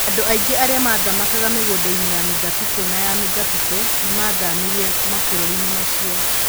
Andũ aingĩ arĩa mathamakaga mĩgũnda-inĩ ya mĩthabibũ na ya mĩthabibũ nĩ maathamĩire mabũrũri-inĩ macio.